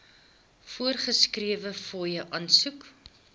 voorgeskrewe fooie aansoek